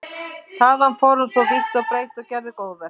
Þaðan fór hann svo vítt og breitt og gerði góðverk.